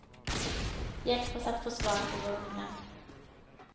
Hjälp oss att få svar på vår undran.